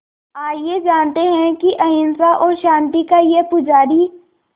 आइए जानते हैं कि अहिंसा और शांति का ये पुजारी